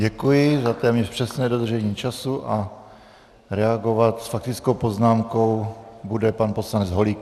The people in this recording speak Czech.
Děkuji za téměř přesné dodržení času a reagovat s faktickou poznámkou bude pan poslanec Holík.